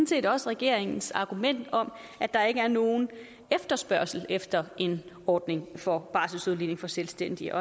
set også regeringens argument om at der ikke er nogen efterspørgsel efter en ordning for barselsudligning for selvstændige